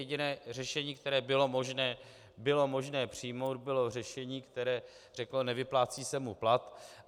Jediné řešení, které bylo možné přijmout, bylo řešení, které řeklo: nevyplácí se mu plat.